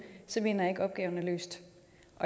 så mener jeg ikke at opgaven er løst